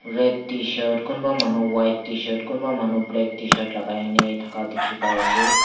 red tshirt kunba manu white tshirt kunba manu black tshirt lagai ney thaka dikhi pai ase.